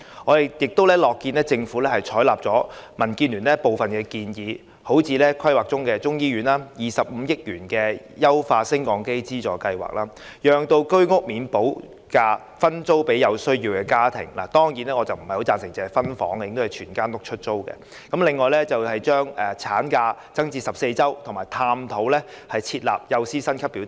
我們亦樂見政府採納了民建聯的部分建議，例如規劃中的中醫院、25億元的優化升降機資助計劃、讓未補價居屋分租予有需要的家庭——當然，我不太贊成只是分租，而應該全屋出租、還有增加法定產假至14周，以及探討設立幼稚園教師薪級表等。